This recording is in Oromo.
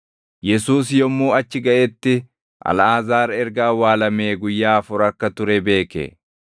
Yesuus yommuu achi gaʼetti Alʼaazaar erga awwaalamee guyyaa afur akka ture beeke.